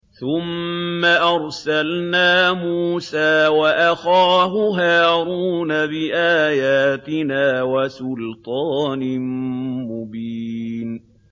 ثُمَّ أَرْسَلْنَا مُوسَىٰ وَأَخَاهُ هَارُونَ بِآيَاتِنَا وَسُلْطَانٍ مُّبِينٍ